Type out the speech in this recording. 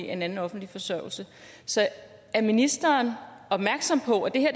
en anden offentlig forsørgelse så er ministeren opmærksom på at det her